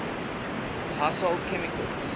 household chemicals